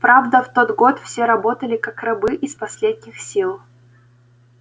правда в тот год все работали как рабы из последних сил